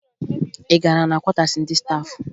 Ị gara na kwọtaasi ndị staafụ?